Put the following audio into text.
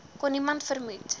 kon niemand vermoed